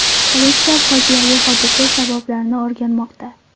Politsiya fojiali hodisa sabablarini o‘rganmoqda.